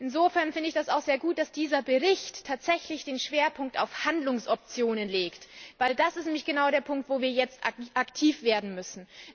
Insofern finde ich es auch sehr gut, dass dieser Bericht tatsächlich den Schwerpunkt auf Handlungsoptionen legt, weil das nämlich genau der Punkt ist, wo wir jetzt aktiv werden müssen.